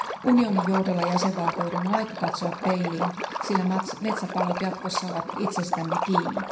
Unionin johdolla jäsenvaltioiden on aika katsoa peiliin, sillä metsäpalot jatkossa ovat itsestämme kiinni.